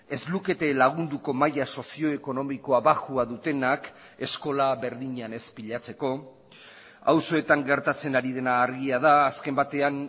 ez lukete lagunduko maila sozio ekonomikoa baxua dutenak eskola berdinean ez pilatzeko auzoetan gertatzen ari dena argia da azken batean